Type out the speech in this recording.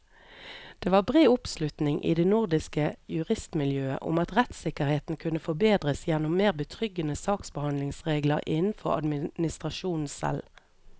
Det var bred oppslutning i det nordiske juristmiljøet om at rettssikkerheten kunne forbedres gjennom mer betryggende saksbehandlingsregler innenfor administrasjonen selv.